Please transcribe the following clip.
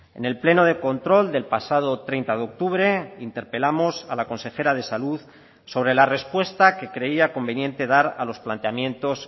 en el pleno de control del pasado treinta de octubre interpelamos a la consejera de salud sobre la respuesta que creía conveniente dar a los planteamientos